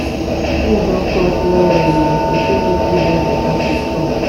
tins don cost well well o pesin no fit buy beta food chop